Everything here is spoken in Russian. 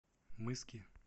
мыски